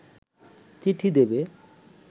চিঠি দেবে